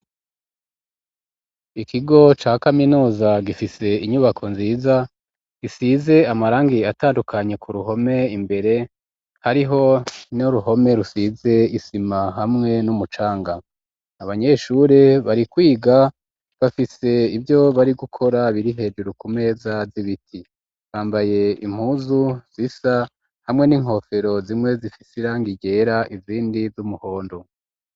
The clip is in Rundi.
Ikigo ca kaminuza gifise inyubako nziza gisize amarangi atandukanye ku ruhome imbere hariho n'uruhome rusize isima hamwe n'umucanga abanyeshure bari kwiga bafise ivyo bari gukora biri hejuru ku meza z'ibiti bambaye impuzu zisa hamwe n'inkofero zimwe zifise irangi ryera izindi ry'umuhondo.